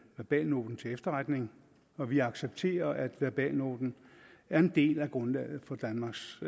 verbalnoten til efterretning og vi accepterer at verbalnoten er en del af grundlaget for danmarks